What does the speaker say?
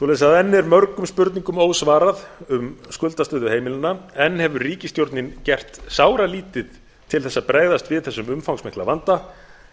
enn er mörgum spurningum ósvarað um skuldastöðu heimilanna enn hefur ríkisstjórnin gert sáralítið til að bregðast við þessum umfangsmikla vanda